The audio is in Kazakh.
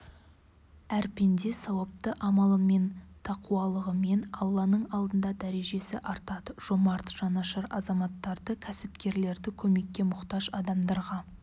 әр пенде сауапты амалымен тақуалығымен алланың алдында дәрежесі артады жомарт жанашыр азаматтарды кәсіпкерлерді көмекке мұқтаж адамдарға